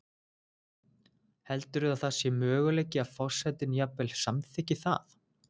Heldurðu að það sé möguleiki að forsetinn jafnvel samþykki það?